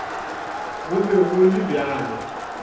go be go le bjalo